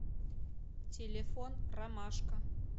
телефон ромашка